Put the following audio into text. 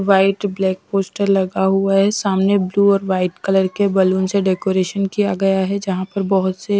white black poster लगा हुआ है सामने ब्लू और वाइट कलर के बलून से डेकोरेशन किया गया है जहाँ पर बहुत से --